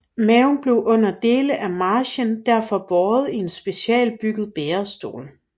Mao blev under dele af marchen derfor båret i en specialbygget bærestol